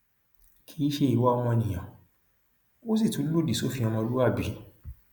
kì í ṣe ìwà ọmọnìyàn ó sì tún lòdì sófin ọmọlúàbí